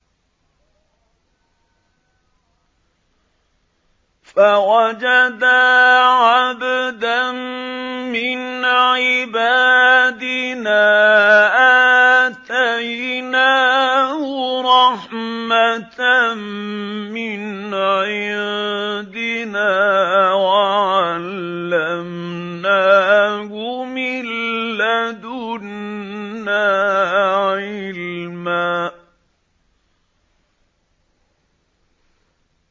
فَوَجَدَا عَبْدًا مِّنْ عِبَادِنَا آتَيْنَاهُ رَحْمَةً مِّنْ عِندِنَا وَعَلَّمْنَاهُ مِن لَّدُنَّا عِلْمًا